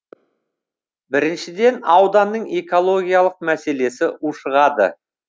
біріншіден ауданның экологиялық мәселесі ушығады